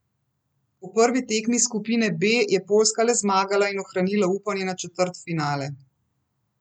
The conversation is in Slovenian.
V prvi tekmi skupine B je Poljska le zmagala in ohranila upanje na četrtfinale.